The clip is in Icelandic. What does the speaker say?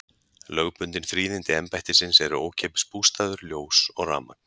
Lögbundin fríðindi embættisins eru ókeypis bústaður, ljós og rafmagn.